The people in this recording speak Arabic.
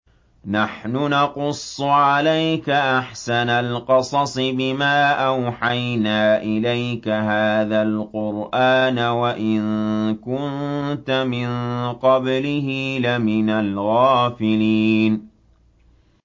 نَحْنُ نَقُصُّ عَلَيْكَ أَحْسَنَ الْقَصَصِ بِمَا أَوْحَيْنَا إِلَيْكَ هَٰذَا الْقُرْآنَ وَإِن كُنتَ مِن قَبْلِهِ لَمِنَ الْغَافِلِينَ